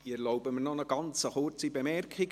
Ich erlaube mir eine ganz kurze Bemerkung.